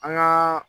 An gaa